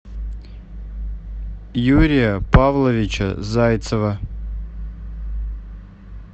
юрия павловича зайцева